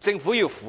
政府符合。